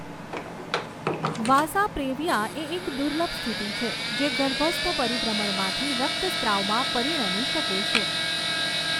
વાસા previa એ એક દુર્લભ સ્થિતિ છે જે ગર્ભસ્થ પરિભ્રમણમાંથી રક્તસ્રાવમાં પરિણમી શકે છે.